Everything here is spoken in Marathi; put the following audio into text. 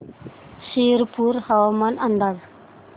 शिरपूर हवामान अंदाज